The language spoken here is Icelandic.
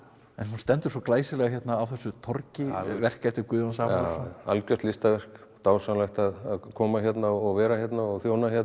en hún stendur svo glæsilega hérna á þessu torgi verk eftir Guðjón Samúelsson já já algjört listaverk dásamlegt að koma hérna og vera hérna og þjóna hérna